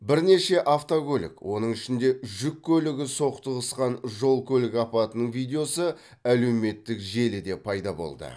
бірнеше автокөлік оның ішінде жүк көлігі соқтығысқан жол көлік апатының видеосы әлеуметтік желіде пайда болды